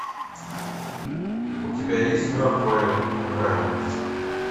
у тебя есть мертвые не умирают